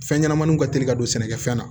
Fɛn ɲɛnɛmaniw ka teli ka don sɛnɛkɛfɛn na